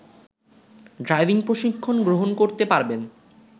driving প্রশিক্ষণগ্রহণ করতে পারবেন